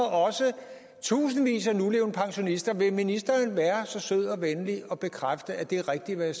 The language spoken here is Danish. tusindvis af nulevende pensionister vil ministeren være så sød og venlig og bekræfte at det er rigtigt hvad